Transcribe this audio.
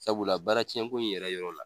Sabula baara cɛn ko in yɛrɛ yɔrɔ la.